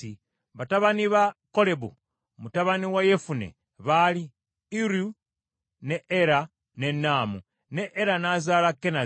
Batabani ba Kolebu mutabani wa Yefune baali Iru, ne Era ne Naamu. Ne Era n’azaala Kenazi.